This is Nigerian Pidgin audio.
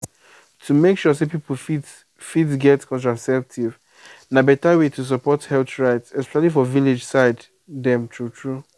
to make sure say people fit fit get contraceptive na better way to support health rights especially for village side dem true true.